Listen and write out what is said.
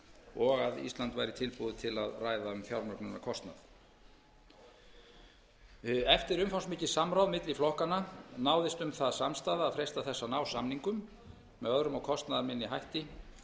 og að ísland væri tilbúið til að ræða um fjármögnunarkostnað eftir umfangsmikið samráð milli flokkanna náðist um það samstaða að freista þess að ná samningum með öðrum og kostnaðarminni hætti